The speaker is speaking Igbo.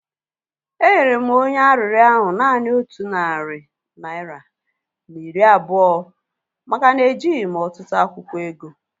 Enyere m onye arịrịọ ahu naanị otu narị naira na iri abụọ maka na ejighị m ọtụtụ akwụkwọ ego